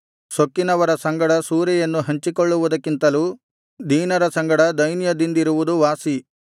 ಸೊಕ್ಕಿನವರ ಸಂಗಡ ಸೂರೆಯನ್ನು ಹಂಚಿಕೊಳ್ಳುವುದಕ್ಕಿಂತಲೂ ದೀನರ ಸಂಗಡ ದೈನ್ಯದಿಂದಿರುವುದು ವಾಸಿ